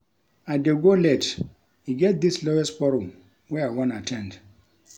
I dey go late e get dis lawyers forum wey I wan at ten d